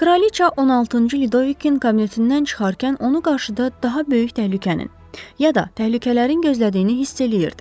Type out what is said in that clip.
Kraliça 16-cı Lüdovikin kabinetindən çıxarkən onu qarşıda daha böyük təhlükənin, ya da təhlükələrin gözlədiyini hiss eləyirdi.